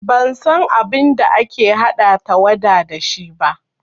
Ban san abin da ake haɗa tawada da shi ba